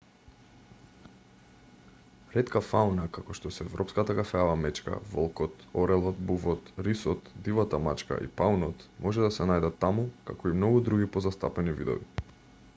ретка фауна како што се европската кафеава мечка волкот орелот бувот рисот дивата мачка и паунот може да се најдат таму како и многу други позастапени видови